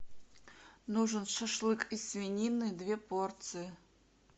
нужен шашлык из свинины две порции